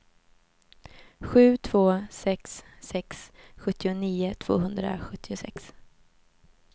sju två sex sex sjuttionio tvåhundrasjuttiosex